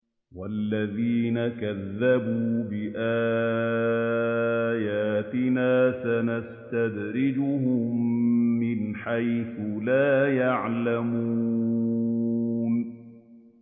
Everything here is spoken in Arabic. وَالَّذِينَ كَذَّبُوا بِآيَاتِنَا سَنَسْتَدْرِجُهُم مِّنْ حَيْثُ لَا يَعْلَمُونَ